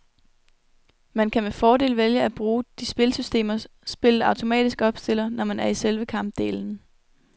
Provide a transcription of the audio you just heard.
Man kan med fordel vælge at bruge de spilsystemer spillet automatisk opstiller, når man er i selve kampdelen.